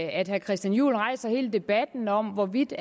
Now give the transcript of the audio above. at herre christian juhl rejser hele debatten om hvorvidt